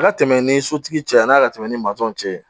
A ka tɛmɛ ni sotigi cɛ yan'a ka tɛmɛ ni maaw cɛ ye